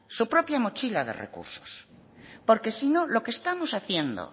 su propia mochila de recursos porque si no lo que estamos haciendo